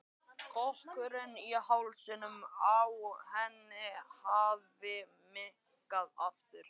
Kökkurinn í hálsinum á henni hafði minnkað aftur.